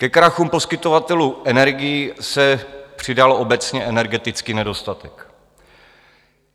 Ke krachům poskytovatelů energií se přidal obecně energeticky nedostatek.